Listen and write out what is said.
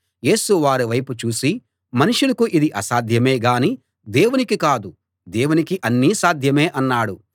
యేసు వారి వైపు చూసి మనుషులకు ఇది అసాధ్యమే గాని దేవునికి కాదు దేవునికి అన్నీ సాధ్యమే అన్నాడు